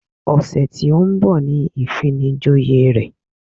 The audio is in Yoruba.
Ọ̀sẹ̀ tí ó ń bọ̀ ni ìfinijoyè rẹ̀